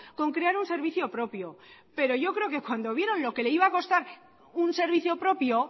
con crear un servicio propio pero yo creo que cuando vieron lo que le iba a costar un servicio propio